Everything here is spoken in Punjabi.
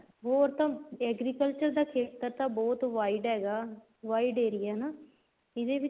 ਹੋਰ ਤਾਂ agriculture ਦਾ ਖ਼ੇਤਰ ਤਾਂ ਬਹੁਤ wide ਹੈਗਾ wide ਏਰੀਆ ਹਨਾ ਇਹਦੇ ਵਿੱਚ